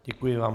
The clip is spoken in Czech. Děkuji vám.